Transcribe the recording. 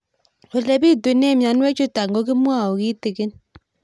Ole pitune mionwek chutok ko kimwau kitig'ín